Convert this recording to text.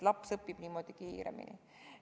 Laps õpib niimoodi kiiremini.